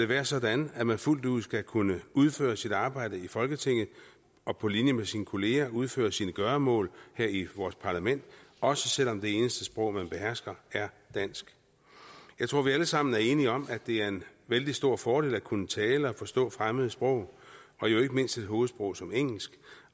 være sådan at man fuldt ud skal kunne udføre sit arbejde i folketinget og på linje med sine kollegaer kunne udføre sine gøremål her i vores parlament også selv om det eneste sprog man behersker er dansk jeg tror at vi alle sammen er enige om at det er en vældig stor fordel at kunne tale og forstå fremmede sprog og jo ikke mindst et hovedsprog som engelsk